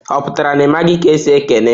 Oputara na I maghị ka esi ekene?